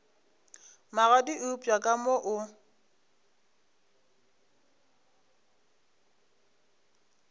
magadi eupša ka mo o